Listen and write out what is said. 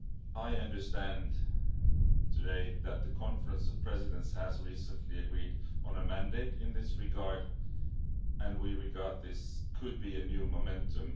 I understand today that the Conference of Presidents has recently agreed on a mandate in this regard and we think this could be a new momentum.